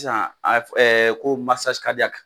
Sisan a bɛ ko